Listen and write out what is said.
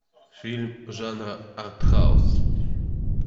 фильм жанра артхаус